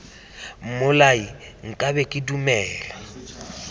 mmolai nka be ke dumela